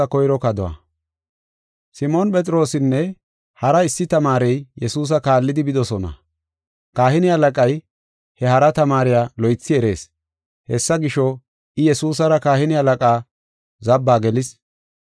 Simoon Phexroosinne hara issi tamaarey Yesuusa kaallidi bidosona. Kahine halaqay he hara tamaariya loythi erees. Hessa gisho, I Yesuusara kahine halaqaa zabbaa gelis.